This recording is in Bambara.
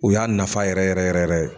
U y'a nafa yɛrɛ yɛrɛ yɛrɛ yɛrɛ ye.